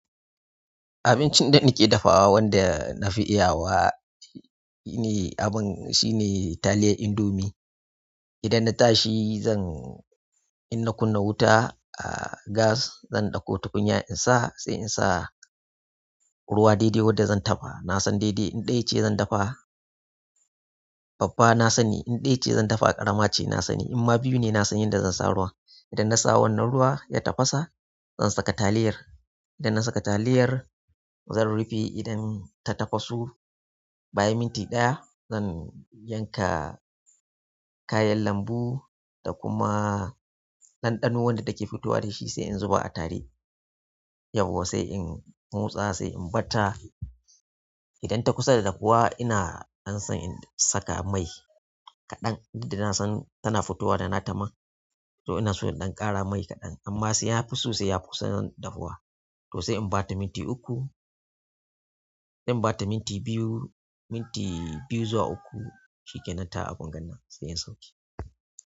Abincin da nake dafawa wanda na fi iya wa shine abin, shine taliyar indomie. Idan na tashi zan, in na kunna wuta a gas, zan ɗauko tukunya in sa, sai in sa ruwa daidai wadda zan dafa. Na san daidai in ɗaya ce zan dafa babba na sani, in ɗaya ce zan dafa karama ce na sani. Inma biyu ne na san yadda zan sa ruwa. Idan na sa wannan ruwa ya tafasa, zan saka taliyar. Idan na saka taliyar zan rufe idan ta tafasu. Bayan minti ɗaya zan yanka kayan lambu da kuma ɗanɗano wadda take fitowa da shi sai in zuba a tare. Yawwa sai in motsa sai in ɓata. Idan ta kusa da dafuwa ina ɗan san in saka mai kaɗan. Duk da na san tana fitowa da na ta man to ina so in ɗan ƙara mai kaɗan. Amma sai ya fi sosai ya kusan dafuwa. To sai in bata minti uku, in bata minti biyu, minti biyu zuwa uku shikenan ta abungannan sai in sauke.